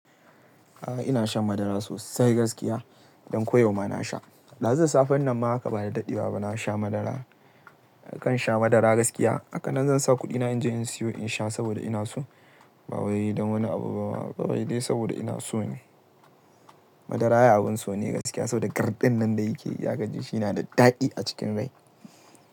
A'a ina shan madara sosai gaskiya, don ko yau ma na sha. Dazun safen nan ma haka ba da dadewa ba na sha madara. Nakan sha madara gaskiya. Haka nan zan sa kuɗina in je in siyo in sha saboda ina so. Ba wai don wani abu ba. Ba wai dai saboda ina so ne. Madara ai abin so ne gaskiya saboda garɗin nan da yake yi. Ya kaji shi yana da daɗi a cikin rai.